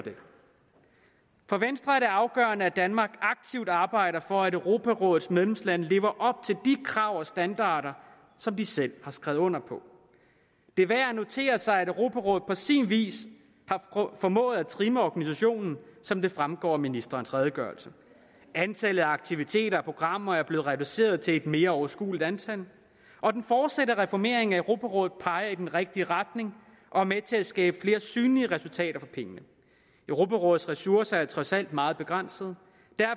for venstre er det afgørende at danmark aktivt arbejder for at europarådets medlemslande lever op til de krav og standarder som de selv har skrevet under på det er værd at notere sig at europarådet på sin vis har formået at trimme organisationen som det fremgår af ministerens redegørelse antallet af aktiviteter og programmer er blevet reduceret til et mere overskueligt antal og den fortsatte reformering af europarådet peger i den rigtige retning og er med til at skabe flere synlige resultater for pengene europarådets ressourcer er trods alt meget begrænsede